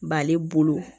B'ale bolo